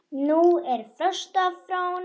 Nú er frost á Fróni